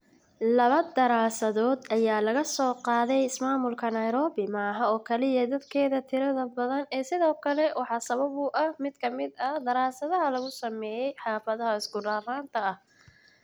Labo daraasadood ayaa laga soo qaatay ismaamulka Nairobi ma aha oo kaliya dadkeeda tirada badan ee sidoo kale waxaa sabab u ah mid ka mid ah daraasadaha lagu sameeyay xaafadaha isku raranta ah.